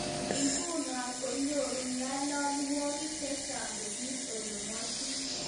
Nguno konyoru nyalilwogik chechaang kosir ole kibwotitoi